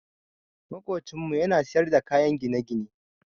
Maƙocinmu ya na siyar da kayan gine-gine.